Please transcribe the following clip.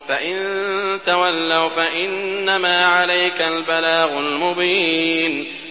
فَإِن تَوَلَّوْا فَإِنَّمَا عَلَيْكَ الْبَلَاغُ الْمُبِينُ